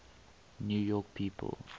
new york people